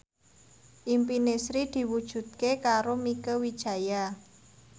impine Sri diwujudke karo Mieke Wijaya